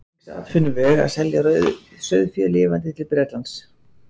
Eins var um þann útflutningsatvinnuveg að selja sauðfé lifandi til Bretlands.